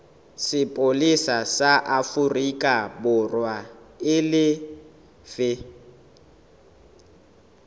sepolesa sa aforikaborwa e lefe